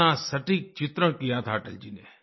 कितना सटीक चित्रण किया था अटल जी ने